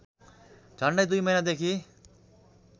झन्डै २ महिनादेखि